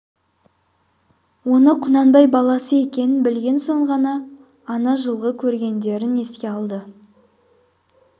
оның құнанбай баласы екенін білген соң ғана ана жылғы көргендерін еске алды